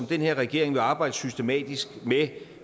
den her regering vil arbejde systematisk med